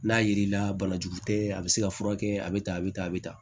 N'a yiri la banajugu tɛ a bɛ se ka furakɛ a bɛ tan a bɛ tan a bɛ tan